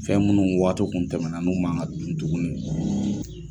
Fɛn munnu waatiw kun tɛmɛna n'u ma ka dun tugunni.